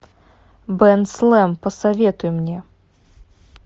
бен слэм посоветуй мне